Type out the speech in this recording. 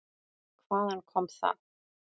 Hvaðan kom það?